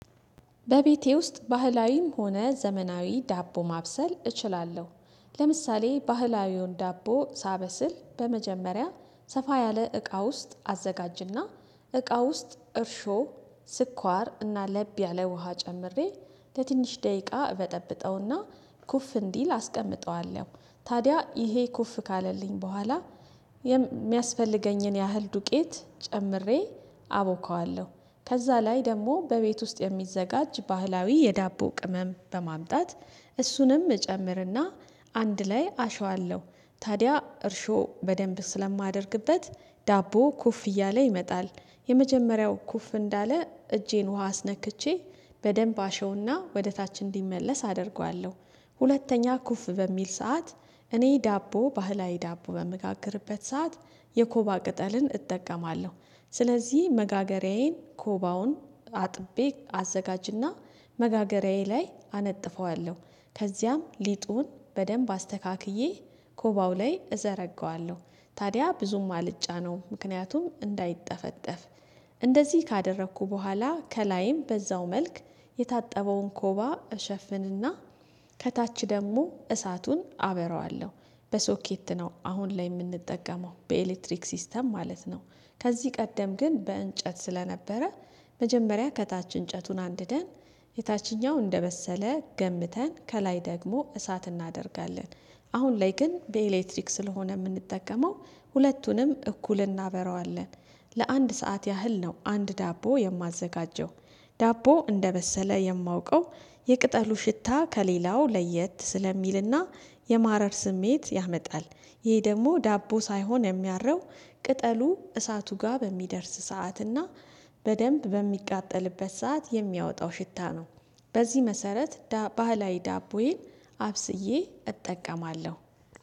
በቤቴ ውስጥ ባህላዊም ሆነ ዘመናዊ ዳቦ ማብሰል እችላለሁ። ለምሳሌ ባህላዊውን ዳቦ ሳበስል በመጀመሪያ ሰፋ ያለ እቃ ውስጥ አዘጋጅና እቃ ውስጥ እርሾ፣ ስኳር እና ለብ ያለ ውሃ ጨምሬ ለትንሽ ደቂቃ በጠብጠውና ኩፍ እንዲል አስቀምጠዋለሁ። ታዲያ ይሄ ኩፍ ካለልኝ በኋላ የሚያስፈልገኝን ያህል ዱቄት ጨምሬ አቦካዋለሁ። ከዛ ላይ ደግሞ በቤት ውስጥ የሚዘጋጅ ባህላዊ የዳቦ ቅመም በማምጣት እሱንም እጨምርና አንድ ላይ አሸዋለሁ። ታዲያ እርሾ በደንብ ስለማደርግበት ዳቦ ኩፍ እያለ ይመጣል። የመጀመሪያው ኩፍ እንዳለ እጄን ውሃ አስነክቼ በደንብ አሸውና ወደ ታች እንዲመለስ አደርገዋለሁ። ሁለተኛ ኩፍ በሚል ሰዓት እኔ ዳቦ፣ ባህላዊ ዳቦ በምጋግርበት ሰዓት የኮባ ቅጠልን እጠቀማለሁ። ስለዚህ መጋገሬዬን ኮባውን አጥቤ አዘጋጅና መጋገሬዬ ላይ አነጥፈዋለሁ። ከዚያም ሊጡን በደንብ አስተካክዬ ኮባው ላይ እዘረጋዋለሁ። ታዲያ ብዙም አልጫነውም፣ ምክንያቱም እንዳይጠፈጠፍ። እንደዚህ ካደረኩ በኋላ ከላይም በዛው መልክ የታጠበውን ኮባ እሸፍንና ከታች ደግሞ እሳቱን አበረዋለሁ። በሶኬት ነው አሁን ላይ የምንጠቀመው፣ በኤሌክትሪክ ሲስተም ማለት ነው። ከዚህ ቀደም ግን በእንጨት ስለነበረ መጀመሪያ ከታች እንጨቱን አንድደን የታችኛው እንደመሰለ ገምተን ከላይ ደግሞ እሳት እናደርጋለን። አሁን ላይ ግን በኤሌክትሪክ ስለሆነ የምንጠቀመው ሁለቱንም እኩል እናበራዋለን። ለአንድ ሰዓት ያህል ነው አንድ ዳቦ የማዘጋጀው ዳቦ እንደበሰለ የማውቀው የቅጠሉ ሽታ ከሌላው ለየት ስለሚልና የማረር ስሜት ያመጣል። ይሄ ደግሞ ዳቦ ሳይሆን የሚያረው ቅጠሉ እሳቱ ጋር በሚደርስ ሰዓትና በደንብ በሚቃጠልበት ሰዓት የሚያወጣው ሽታ ነው። በዚህ መሰረት ባህላዊ ዳቦዬን አብስዬ እጠቀማለሁ።